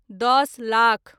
दस लाख